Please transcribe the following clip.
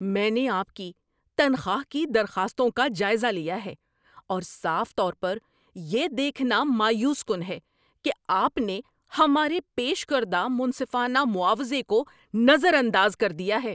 میں نے آپ کی تنخواہ کی درخواستوں کا جائزہ لیا ہے، اور صاف طور پر، یہ دیکھنا مایوس کن ہے کہ آپ نے ہمارے پیش کردہ منصفانہ معاوضے کو نظر انداز کر دیا ہے۔